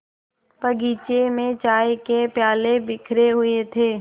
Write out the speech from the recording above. बगीचे में चाय के प्याले बिखरे हुए थे